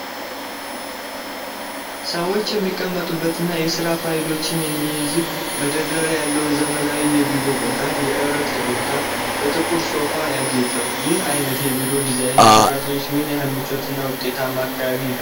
ሰዎች የሚቀመጡበትና የስራ ፋይሎችን የሚይዝ መደርደሪያ ያለው ዘመናዊ የቢሮ ቦታ፣ የእረፍት ቦታው በጥቁር ሶፋ ያጌጠው፣ ይህ አይነት የቢሮ ዲዛይን ለሠራተኞች ምን ያህል ምቹና ውጤታማ አካባቢ ይፈጥራል?